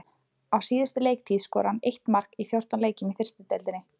Á síðustu leiktíð skoraði hann eitt mark í fjórtán leikjum í fyrstu deildinni.